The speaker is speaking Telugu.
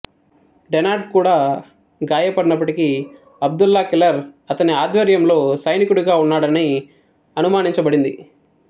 డెనార్డ్ కూడా గాయపడినప్పటికీ అబ్దుల్లా కిల్లర్ అతని ఆధ్వర్యంలో సైనికుడిగా ఉన్నాడని అనుమానించబడింది